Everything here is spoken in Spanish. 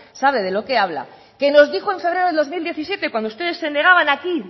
sabe de lo que habla que nos dijo en febrero de dos mil diecisiete cuando ustedes se negaban aquí